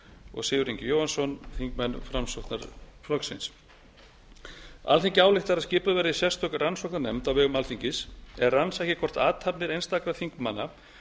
og sigurður ingi jóhannsson þingmenn framsóknarflokksins alþingi ályktar að skipuð verði sérstök rannsóknarnefnd á vegum alþingis sem rannsaki hvort athafnir einstakra þingmanna